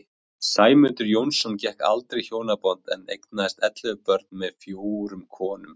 Sæmundur Jónsson gekk aldrei í hjónaband en eignaðist ellefu börn með fjórum konum.